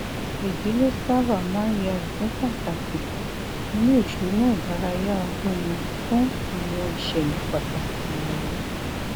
ìdílé sábà máa ń yà ipin pàtàkì nínú ìṣúná ìdárayá ọdún wọn fún àwọn ìṣẹlẹ pàtàkì wọnyí